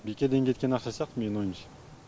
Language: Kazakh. бекерден кеткен ақша сияқты менің ойымша